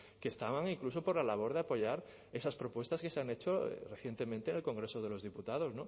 que estaban incluso por la labor de apoyar esas propuestas que se han hecho recientemente en el congreso de los diputados